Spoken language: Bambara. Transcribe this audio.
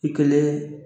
I kelen